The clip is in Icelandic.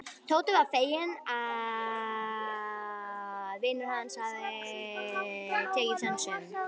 Tóti var feginn að vinur hans hafði tekið sönsum.